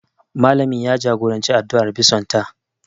Malamin ya jagoranci addu'ar bison ta